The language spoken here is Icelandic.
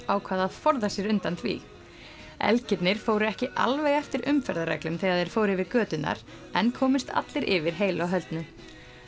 ákvað að forða sér undan því fóru ekki alveg eftir umferðarreglum þegar þeir fóru yfir göturnar en komust allir yfir heilu og höldnu